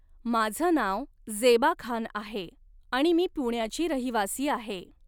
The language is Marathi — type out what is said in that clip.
माझं नाव ज़ेबा खान आहे आणि मी पुण्याची रहिवासी आहे.